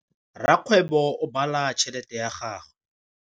Rakgwêbô o bala tšheletê ya gagwe.